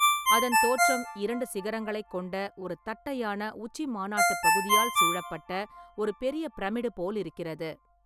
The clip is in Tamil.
அதன் தோற்றம் இரண்டு சிகரங்களைக் கொண்ட ஒரு தட்டையான உச்சிமாநாட்டுப் பகுதியால் சூழப்பட்ட ஒரு பெரிய பிரமிடு போலிருக்கிறது.